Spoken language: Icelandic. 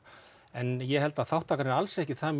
en ég held að þátttakan er alls ekki það